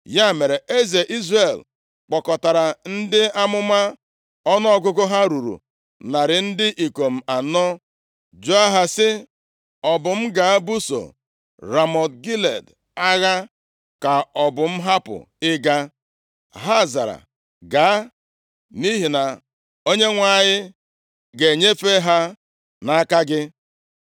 Ya mere, eze Izrel kpọkọtara ndị amụma, ọnụọgụgụ ha ruru narị ndị ikom anọ, jụọ ha sị, “Ọ bụ m gaa buso Ramọt Gilead agha, ka ọ bụ m hapụ ịga?” Ha zara, “Gaa, nʼihi na Onyenwe anyị ga-enyefe ha nʼaka eze.”